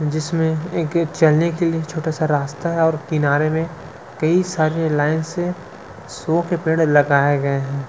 जिसमें एक चलने के लिए एक छोटा सा रास्ता है और किनारे मे कई सारे लाइन से शो के पेड़ लगाए गए है।